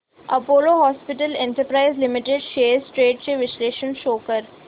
Apollo hospitals enterprise limited shares trends चे विश्लेषण show कर